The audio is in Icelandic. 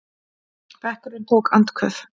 Bekkurinn tók andköf.